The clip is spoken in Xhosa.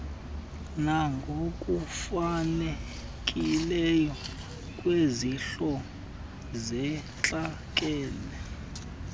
nangokufanelekileyo kwizihlo zentlekele